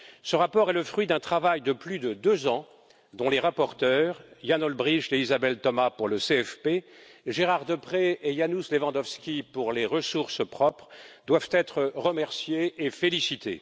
Ce rapport est le fruit d'un travail de plus de deux ans, dont les rapporteurs Jan Olbrycht et Isabelle Thomas pour le CFP Gérard Deprez et Janusz Lewandowski pour les ressources propres, doivent être remerciés et félicités.